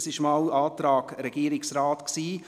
Dies war der Antrag des Regierungsrates.